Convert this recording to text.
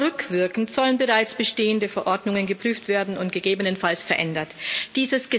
Sogar rückwirkend sollen bereits bestehende Verordnungen geprüft und gegebenenfalls verändert werden.